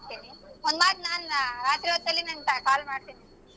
ಒಂದ್ ಮಾತ್ ನಾನ್ ರಾತ್ರಿ ಹೊತ್ತಲ್ಲಿ ನಿನಗೆ call ಮಾಡ್ತೀನಿ.